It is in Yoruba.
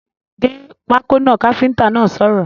‘Gé pákó náà’ káfíntà náà sọ̀rọ̀